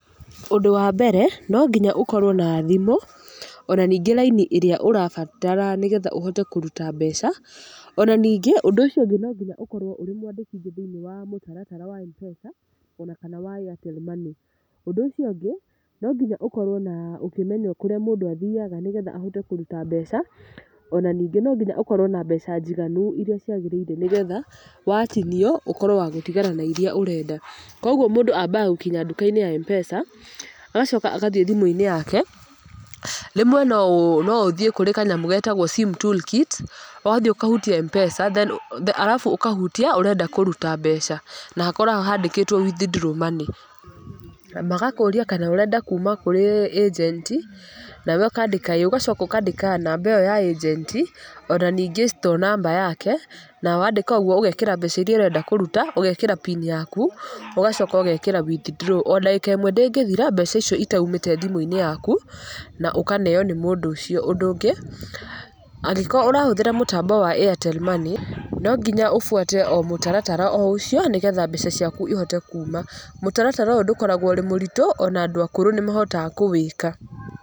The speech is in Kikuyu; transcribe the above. Ũndũ wa mbere, no nginya ũkorwo na thimũ. Ona ningĩ raini ĩrĩa ũrabatara nĩgetha ũhote kũruta mbeca. Ona ningĩ, ũnd ũũcio ũngĩ no nginya ũkorwo mwandĩkithie thĩiniĩ wa mũtaratara wa M-Pesa, ona kana wa Airtel Money. Ũndũ ũcio ũngĩ, no nginya ũkorwo na ũkĩmenya kũrĩa mũndũ athiaga nĩgetha ahote kũruta mbeca, ona ningĩ nyingĩ ũkorwo na mbeca njiganu irĩa ciagĩrĩire nĩgetha, watinio, ũkorwo wa gũtigara na irĩa ũrenda. Kũguo mũndũ ambaga gũkinya nduka-inĩ ya M-Pesa, agacoka agathiĩ thimũ-inĩ yake, rĩmwe no no ũthiĩ kũrĩ kanyamũ getagwo sim toolkit, wathiĩ ũkahutie M-Pesa then, arabu ũkahutia, ũrenda kũruta mbeca. Na hakoragwo handĩkĩtwo withdraw money. Magakũria kana ũrenda kuuma kũrĩ agent, nawe ũkandĩka ĩĩ. Ũgacoka ũkandĩka namba ĩyo ya agent, ona ningĩ store number yake. Na wandĩka ũguo ũgekĩra mbeca irĩa ũrenda kũruta, ũgekĩra pini yaku, ũgacoka ũgekĩra withdraw. Ona ndagĩka ĩmwe ndĩngĩthira, mbaca icio itaumĩte thimũ-inĩ yaku, na ũkaneeo nĩ mũndũ ũcio. Ũndũ ũngĩ, angĩkorwo ũrahũthĩra mũtambo wa Airtel Money, no nginya ũbuate o mũtaratara o ũcio, nĩgetha mbeca ciaku ihote kuuma. Mũtaratara ũyũ ndũkoragwo ũrĩ mũritũ, ona andũ akũrũ nĩ mahotaga kũwĩka.